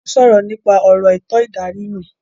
Wọ́n ń sọ̀rọ̀ nípa ọ̀rọ̀ ètò ìdarí náà